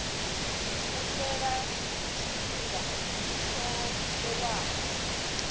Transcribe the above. u fhela tshifhinga tsho vhewaho